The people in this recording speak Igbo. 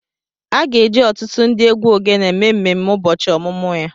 A ga-eji ọtụtụ ndị egwu ogene mee mmemme ụbọchị ọmụmụ ya